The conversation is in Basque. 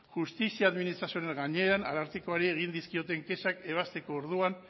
justizia administrazioaren gainean arartekoari egin dizkioten kexak ebazteko orduan